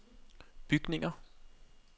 bygninger